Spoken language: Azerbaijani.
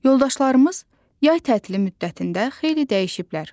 Yoldaşlarımız yay tətili müddətində xeyli dəyişiblər.